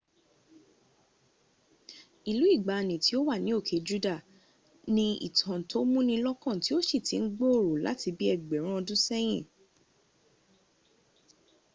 ìlú ìgbàani tí ò wà ní òke juda ni ìtàn tó múnilọ́kàn tí ó sì ti ń gbòòrò láti bí ẹgbẹ̀rún ọdúnsẹ́yìn